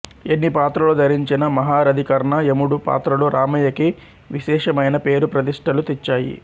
ఎన్ని పాత్రలు ధరించినా మహారధికర్ణ యముడు పాత్రలు రామయ్యకి విశేషమైన పేరు ప్రతిష్టలు తెచ్చాయి